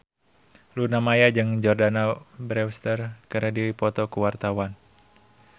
Luna Maya jeung Jordana Brewster keur dipoto ku wartawan